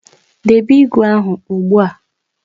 Debe ígwè ahụ ugbu a